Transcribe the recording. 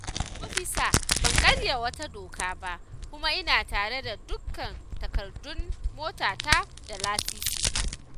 Ofisa ban karya wata doka ba, kuma ina tare da dukkan takardun motata da lasisi